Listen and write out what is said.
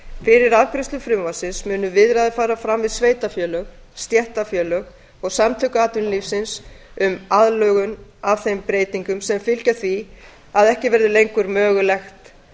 fyrir afgreiðslu frumvarpsins munu viðræður fara fram við sveitarfélög stéttarfélög og samtök atvinnulífsins um aðlögun að þeim breytingum sem fylgja því að ekki verður lengur mögulegt